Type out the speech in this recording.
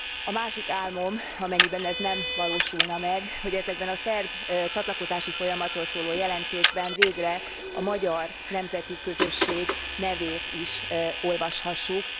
A másik álmom amennyiben az első nem valósulna meg hogy ezekben a szerb csatlakozási folyamatról szóló jelentésekben végre a magyar nemzeti közösség nevét is olvashassuk.